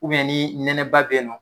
ni nɛnɛba be yen nɔn